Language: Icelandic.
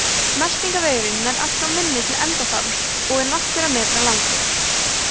meltingarvegurinn nær allt frá munni til endaþarms og er nokkurra metra langur